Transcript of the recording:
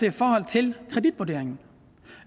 i forhold til kreditvurderingen